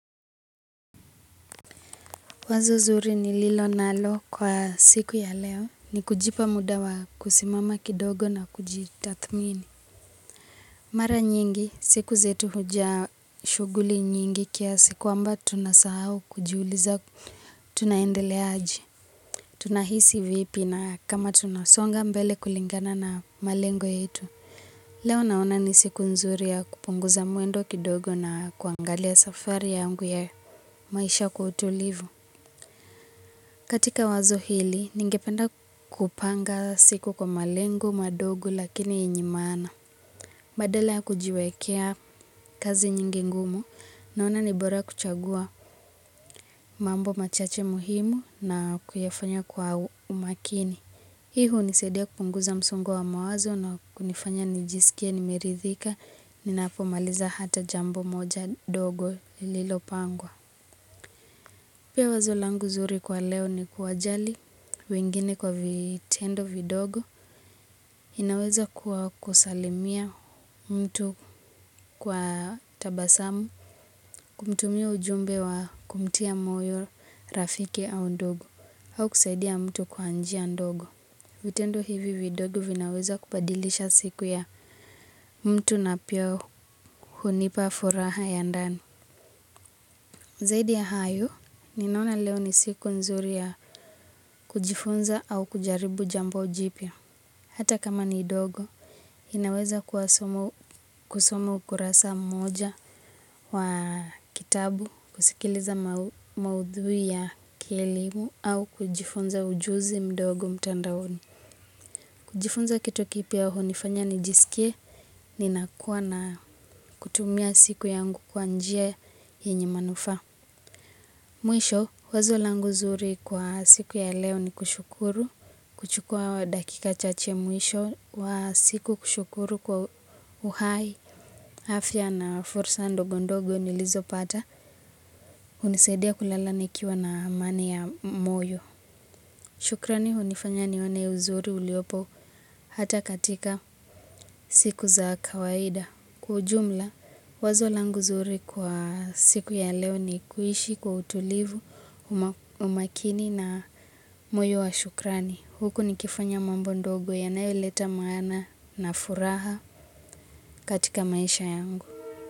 Wazo zuri ni lilo nalo kwa siku ya leo ni kujipa muda wa kusimama kidogo na kujitathmini. Mara nyingi siku zetu hujaa shughuli nyingi kiasi kwamba tunasahau kujuliza tunaendelea aje. Tuna hisi vipi na kama tunasonga mbele kulingana na malengo yetu. Leo naona ni siku nzuri ya kupunguza mwendo kidogo na kuangalia safari yangu ya maisha kwa utulivu. Katika wazo hili, ningependa kupanga siku kwa malengo madogo lakini yenye maana. Badala ya kujiwekea kazi nyingi ngumu, naona ni bora kuchagua mambo machache muhimu na kuyafanya kwa umakini. Hii hunisadia kupunguza msongo wa mawazo na kunifanya nijisikie nimerithika, ninapo maliza hata jambo moja dogo lililopangwa. Pia wazo langu zuri kwa leo ni kuwa jali wengine kwa vitendo vidogo inaweza kuwa kusalimia mtu kwa tabasamu kumtumia ujumbe wa kumtia moyo rafiki au ndugu au kusaidia mtu kwa njia ndogo. Vitendo hivi vidogo vinaweza kubadilisha siku ya mtu na pia hunipa furaha ya ndani. Zaidi ya hayo, ninaona leo ni siku nzuri ya kujifunza au kujaribu jambo jipya. Hata kama ni dogo, ninaweza kusomu kusoma ukurasa mmoja wa kitabu, kusikiliza maudhui ya kielimu au kujifunza ujuzi mdogo mtandaoni. Kujifunza kitu kipya hunifanya nijisikie, nina kuwa na kutumia siku yangu kwa njia yenye manufaa. Mwisho, wazo langu zuri kwa siku ya leo ni kushukuru, kuchukua dakika chache mwisho wa siku kushukuru kwa uhai, afya na fursa ndogo ndogo nilizopata, hunisadia kulala nikiwa na amani ya moyo. Shukrani hunifanya nione uzuri uliopo hata katika siku za kawaida. Kwa ujumla, wazo langu zuri kwa siku ya leo ni kuishi kwa utulivu, umakini na moyo wa shukrani. Huku nikifanya mambo ndogo yanayoleta maana na furaha katika maisha yangu.